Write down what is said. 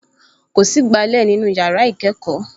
Kò sí ìgbálẹ̀ nínú yàrá ìkẹ́kọ̀ọ́